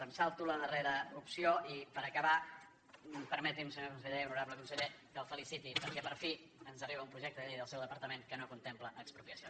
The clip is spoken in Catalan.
em salto la darrera opció i per acabar permeti’m senyor conseller honorable conseller que el feliciti perquè per fi ens arriba un projecte de llei del seu departament que no contempla expropiacions